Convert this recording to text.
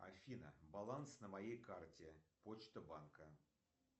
афина баланс на моей карте почта банка